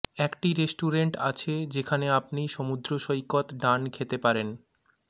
একটি রেস্টুরেন্ট আছে যেখানে আপনি সমুদ্র সৈকত ডান খেতে পারেন